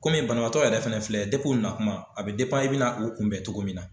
Koni banabaatɔ yɛrɛ fana filɛ depi u natuma a bɛ i bɛna na o kunbɛn cogo min na.